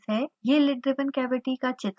यह lid driven cavity का चित्र है